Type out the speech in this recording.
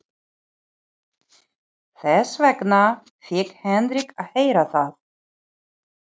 Þess vegna fékk Henrik að heyra það.